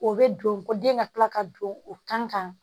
O bɛ don ko den ka kila ka don o kan